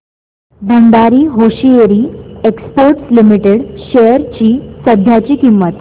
Bhandari hosiery exports limited shares ची सध्याची किंमत